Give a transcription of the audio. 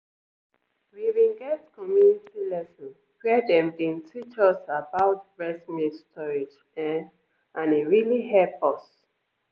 we bin get community lesson where dem bin teach us about breast milk storage ehnnn and e really hep us.